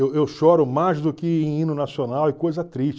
Eu choro mais do que em hino nacional e coisa triste.